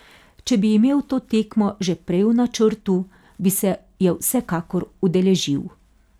Če bi imel to tekmo že prej v načrtu, bi se je vsekakor udeležil.